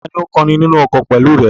Tani ó ń kọrin nínú ọkọ̀ pẹ̀lú rẹ?